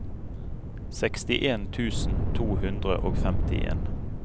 sekstien tusen to hundre og femtien